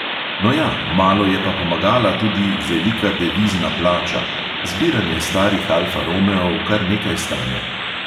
No ja, malo je pa pomagala tudi velika devizna plača (zbiranje starih alfa romeov kar nekaj stane).